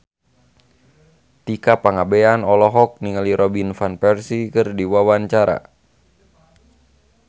Tika Pangabean olohok ningali Robin Van Persie keur diwawancara